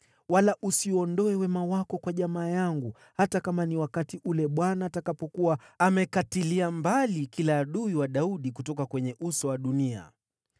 wala usiuondoe wema wako kwa jamaa yangu, hata kama ni wakati ule Bwana atakapokuwa amekatilia mbali kila adui wa Daudi kutoka kwenye uso wa dunia.”